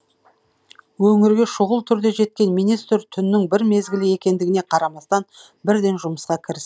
өңірге шұғыл түрде жеткен министр түннің бір мезгілі екендігіне қарамастан бірден жұмысқа кіріс